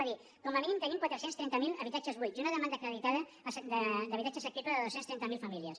va dir com a mínim tenim quatre cents i trenta miler habitatges buits i una demanda acreditada d’habitatge assequible de dos cents i trenta miler famílies